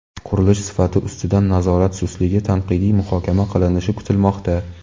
qurilish sifati ustidan nazorat sustligi tanqidiy muhokama qilinishi kutilmoqda.